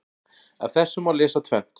Af þessu má lesa tvennt.